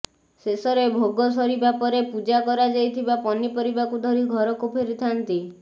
ଶେଷରେ ଭୋଗ ସରିବା ପରେ ପୂଜା କରାଯାଇଥିବା ପନିପରିବାକୁ ଧରି ଘରକୁ ଫେରିଥାନ୍ତି